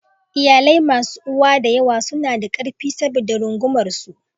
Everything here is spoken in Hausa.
Iyalai masu uwa da yawa suna da ƙarfi saboda rungumar su.